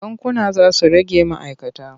Bankuna za su rage ma'aikata.